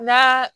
N'a